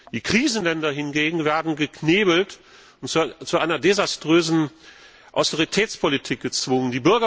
Die Krisenländer hingegen werden geknebelt und zu einer desaströsen Austeritätspolitik gezwungen.